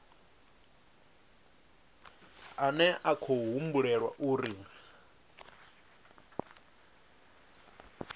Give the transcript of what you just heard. ane a khou humbulelwa uri